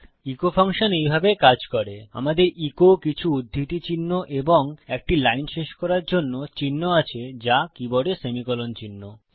eco function এইভাবে কাজ করে আমাদের ইকো কিছু উধৃতি চিহ্ন এবং একটি লাইন শেষ করার জন্য চিন্হ আছে যা কীবোর্ডে সেমিকোলন চিহ্ন